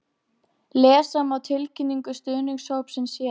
Lesa má tilkynningu stuðningshópsins hér